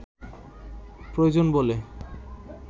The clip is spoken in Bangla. প্রয়োজন বলে